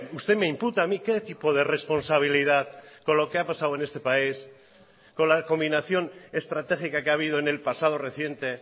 usted me imputa a mí qué tipo de responsabilidad con lo que ha pasado en este país con la combinación estratégica que ha habido en el pasado reciente